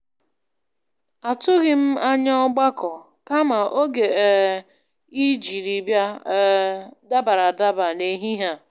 Atụghị m anya ọgbakọ, kama oge um I jiri bịa um dabara adaba n'ehihie a.